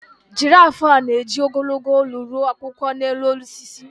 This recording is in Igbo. Giraf a na-eji ogologo olu ru akwụkwọ n’elu osisi?